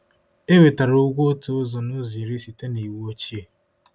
Ewetara ugwo otu ụzọ n'ụzọ iri site n'iwu ochie